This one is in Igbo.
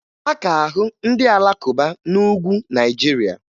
A ka ahụ ndị Alakụba n'Ugwu Naịjirịa